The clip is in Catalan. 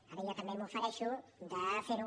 ara jo també m’ofereixo de fer ho